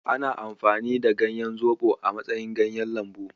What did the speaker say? Ana amfani da ganyan zoɓo a matsayin kayan lambu.